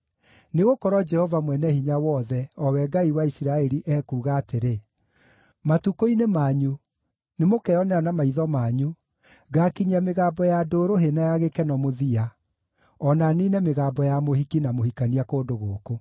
Nĩgũkorwo Jehova, Mwene-Hinya-Wothe, o we Ngai wa Isiraeli, ekuuga atĩrĩ: ‘Matukũ-inĩ manyu nĩmũkeonera na maitho manyu ngakinyia mĩgambo ya ndũrũhĩ na ya gĩkeno mũthia o na niine mĩgambo ya mũhiki na mũhikania kũndũ gũkũ.’